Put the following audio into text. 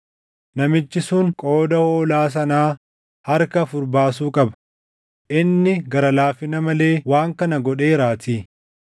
Namichi sun qooda hoolaa sanaa harka afur baasuu qaba; inni gara laafina malee waan kana godheeraatii.”